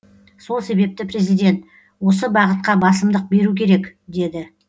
сол себепті президент осы бағытқа басымдық беру керек деді